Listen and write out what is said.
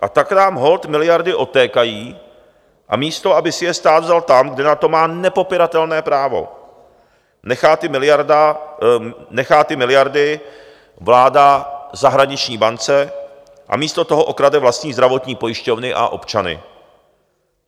A tak nám holt miliardy odtékají, a místo aby si je stát vzal tam, kde na to má nepopiratelné právo, nechá ty miliardy vláda zahraniční bance a místo toho okrade vlastní zdravotní pojišťovny a občany.